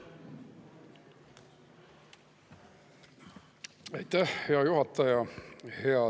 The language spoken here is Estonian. Aitäh, hea juhataja!